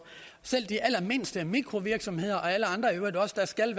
selv de allermindste mikrovirksomheder og når alle andre i øvrigt også skal